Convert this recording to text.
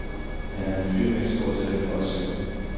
Han er en fyr med et stort talent for at synge.